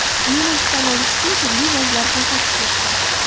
Meni ishdan olish uchun turli vajlar ko‘rsatishmoqda.